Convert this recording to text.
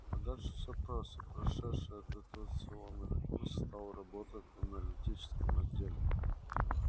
а дальше все просто прошедший адаптационный курс стал работать в аналитическом отделе